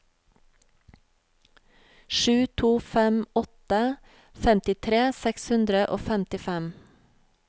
sju to fem åtte femtitre seks hundre og femtifem